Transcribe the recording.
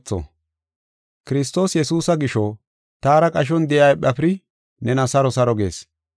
Kiristoos Yesuusa gisho taara qashon de7iya Ephafiri nena saro saro gees.